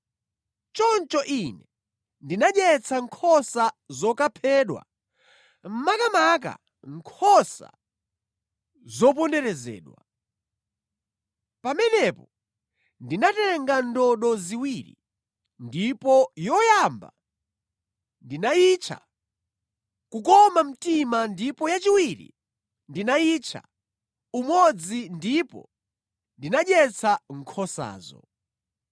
Choncho ine ndinadyetsa nkhosa zokaphedwa, makamaka nkhosa zoponderezedwa. Pamenepo ndinatenga ndodo ziwiri ndipo yoyamba ndinayitcha Kukoma mtima ndipo yachiwiri ndinayitcha Umodzi ndipo ndinadyetsa nkhosazo.